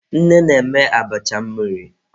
Nne na-eme abacha mmiri.